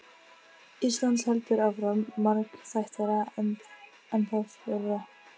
Íslands heldur áfram, margþættara, ennþá frjórra.